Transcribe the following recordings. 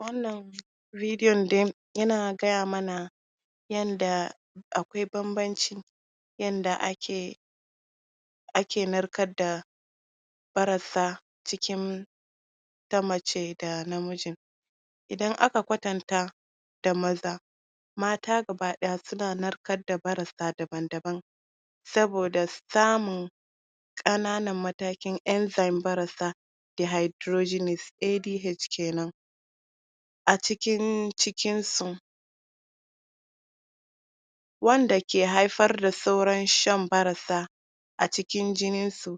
wannan radio din yana gaya mana yanda akwai baban ci yanda ake ake narkarda barassa cikin ta mace da na miji idan aka kwatanta da maza mata gaba daya suna narkarda barasa daban daban saboda samun kananan matakin enzymes na barasa da hydrogenics AGH kenan acikin cikin su wanda ke haifarda sauran shan barasa acikin jininsu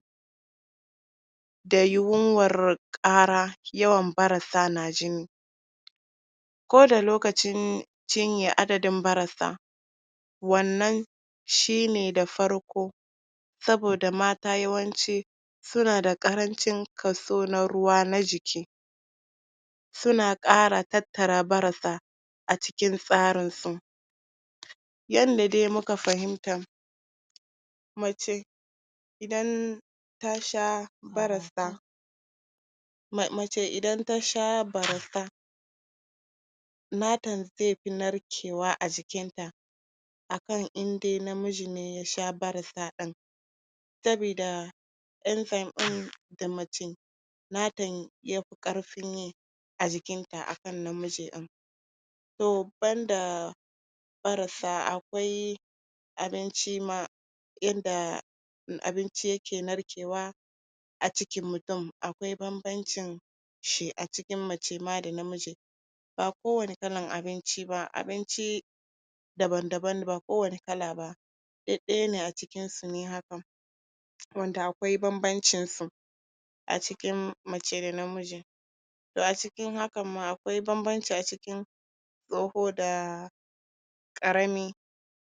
da yunwar kara yawan barasa najini koda lokacin cinya adadin barasa wannan shine da farko saboda mata yawanci sunada karanci kaso na ruwa na jiki suna kara tattara barasa acikin tsarinsu yanda dai muka fahimta mace idan tasha barasa mace idan tasha barasa nata zefi narkewa ajikinta akan in de namiji ne yasha barasa din sabida enzymes din nata yafi karfi ne ajikinta aakan namiji toh ban da barasa akwai abinci ma yanda abinci yake narkewa acikin mutum akwai banbanci shi acikin mace ma dana miji ba kowani kalar abinciba abinci daban daban ba kowani kalaba duk dayane acikinsu ne haka wanda akwai banbancinsu acikin mace da namiji to acikin hakanma akwai banbanci acikin tsoho da karami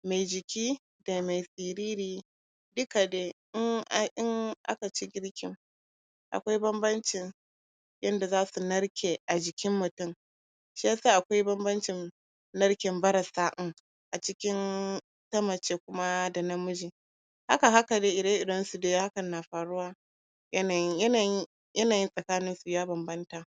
me jiki da me tsiriri duka de in an in akaci girkin akwai banbanci yanda zasu narke ajikin mutum shiyasa akwai banbanci narken barasa um acikin na mace kuma dana miji haka haka de ire irensu de na faruwa yanayi yanayi yanayi sakaninsu ya banbanta